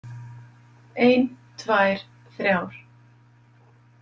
Ein, tvær, þrjár.